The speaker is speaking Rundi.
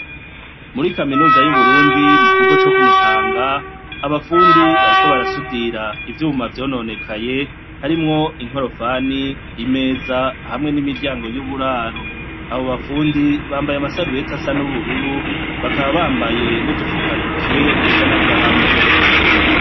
Muri kaminuza y'Uburundi, mu kigo co kumuyange, abafundi bariko barasudira ivyuma vyononekaye harimwo inkorofani, imeza hamw'imiryango y'uburaro, aba bafundi bambaye ama sarubeti asa n'ubururu bakaba bambaye n'udufuka ntoke dusa n'agahama.